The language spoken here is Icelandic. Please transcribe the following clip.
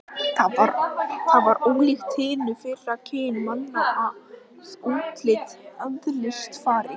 Það var ólíkt hinu fyrra kyni manna að útliti og eðlisfari.